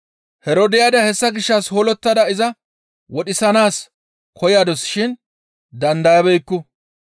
Herodiyaada hessa gishshas hoollottada iza wodhisanaas koyadus shin dandayabeekku.